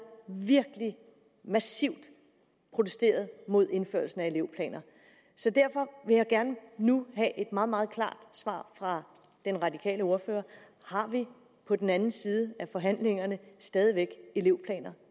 virkelig massivt protesteret mod indførelse af elevplaner så derfor vil jeg gerne nu have et meget meget klart svar fra den radikale ordfører har vi på den anden side af forhandlingerne stadig væk elevplaner